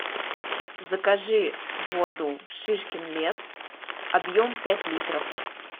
закажи воду шишкин лес объем пять литров